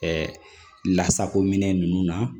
Ɛɛ lasako minɛn nunnu na